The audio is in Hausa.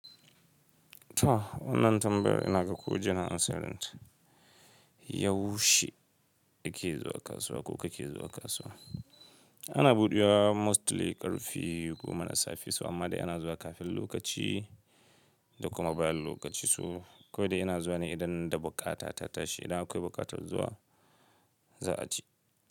To, wannan tambayar ina ga ko jiya na ansan ta. Yaushe ake zuwa kasuwa ko kake zuwa kasuwa? Ana buɗewa mostly ƙarfe goma na safe su amma dai ana zuwa kafin lokaci da kuma bayan lokaci su. Ko da ina zuwa ne idan da buƙata ta tashi. Da akwai buƙatar zuwa, za a ci.